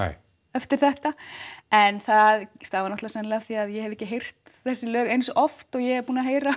eftir þetta en það stafar sennilega af því að ég hef ekki heyrt þessi lög eins oft og ég er búin að heyra